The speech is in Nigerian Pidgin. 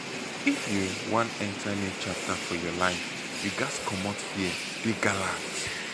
if you wan enter new chapter for your life you ghas comot fear dey gallant